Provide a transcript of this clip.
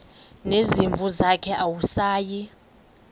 nezimvu zakhe awusayi